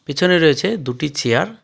পিছনে রয়েছে দুটি চেয়ার ।